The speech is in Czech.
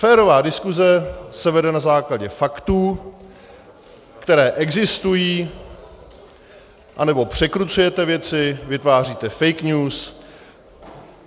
Férová diskuse se vede na základě faktů, které existují, anebo překrucujete věci, vytváříte fake news.